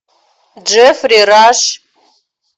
джеффри раш